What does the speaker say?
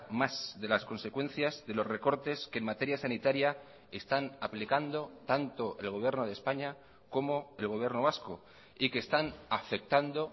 más de las consecuencias de los recortes que en materia sanitaria están aplicando tanto el gobierno de españa como el gobierno vasco y que están afectando